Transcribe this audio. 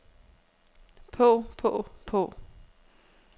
på på på